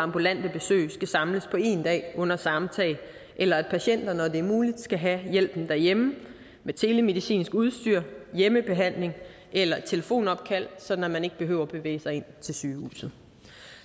ambulante besøg skal samles på én dag under samme tag eller at patienter når det er muligt skal have hjælpen derhjemme med telemedicinsk udstyr hjemmebehandling eller telefonopkald sådan at man ikke behøver at bevæge sig ind til sygehuset